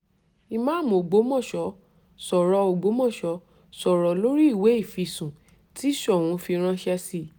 ìmáàmù ọgbọ́mọso sọ̀rọ̀ ọgbọ́mọso sọ̀rọ̀ lórí ìwé ìfisùn tí soun fi ránṣẹ́ sí i